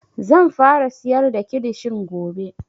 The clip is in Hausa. Zan fara siyar da kilishin gobe